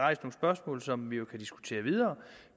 rejst nogle spørgsmål som vi jo kan diskutere videre